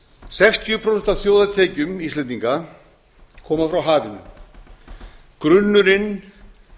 sextíu prósent af þjóðartekjum íslendinga koma frá hafinu grunnurinn